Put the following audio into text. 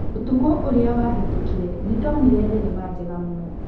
Ũtukũ ũrĩa wahĩtũkire, nĩ ndonire thenema njega mũno.